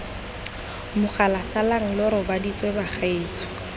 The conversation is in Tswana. mogala salang lo robaditswe bagaetsho